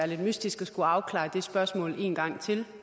lidt mystisk at skulle afklare det spørgsmål en gang til